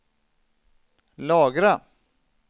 lagra